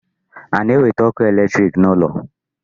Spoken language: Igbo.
A na-ewete ọkụ electric n'ụlọ